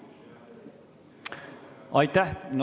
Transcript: Aitäh!